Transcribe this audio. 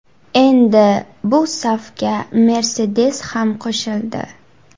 Endi bu safga Mercedes ham qo‘shildi.